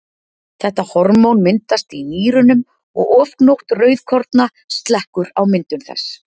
þetta hormón myndast í nýrunum og ofgnótt rauðkorna slekkur á myndun þess